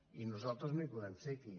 i nosaltres no hi podem ser aquí